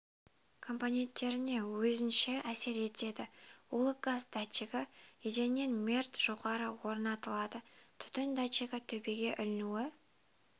компоненттеріне өзінше әсер етеді улы газ датчигі еденнен метр жоғары орнатылады түтін датчигі төбеге ілінуі